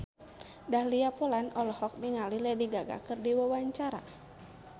Dahlia Poland olohok ningali Lady Gaga keur diwawancara